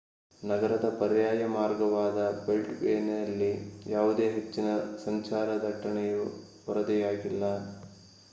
ನಗರದ ಪರ್ಯಾಯ ಮಾರ್ಗವಾದ ಬೆಲ್ಟ್‌ವೇಯಲ್ಲಿ ಯಾವುದೇ ಹೆಚ್ಚಿನ ಸಂಚಾರ ದಟ್ಟಣೆಯು ವರದಿಯಾಗಿಲ್ಲ